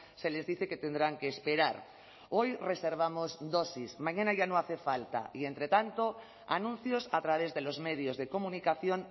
se les dice que tendrán que esperar hoy reservamos dosis mañana ya no hace falta y entre tanto anuncios a través de los medios de comunicación